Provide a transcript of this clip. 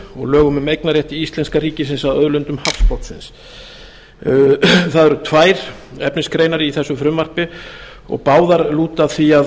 og lögum um eignarrétt íslenska ríkisins að auðlindum hafsbotnsins það eru tvær efnisgreinar í þessu frumvarpi og báðar lúta að því að